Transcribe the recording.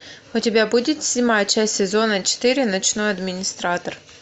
у тебя будет седьмая часть сезона четыре ночной администратор